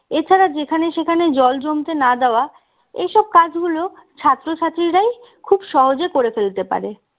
এ ছাড়া যেখানে সেখানে জল জমতে না দেওয়া এসব কাজগুলো ছাত্রছাত্রীরাই খুব সহজে করে ফেলতে পারে